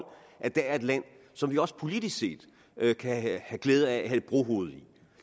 det er et land som vi også politisk set kan have glæde af at have et brohoved i